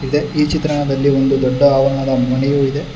ಇದೆ ಈ ಚಿತ್ರಣದಲ್ಲಿ ಒಂದು ದೊಡ್ಡ ಆವರಣದ ಮನೆಯು ಇದೆ.